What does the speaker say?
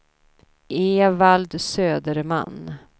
Evald Söderman